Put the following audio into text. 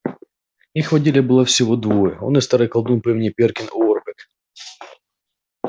их в отделе было всего двое он и старый колдун по имени перкин уорбек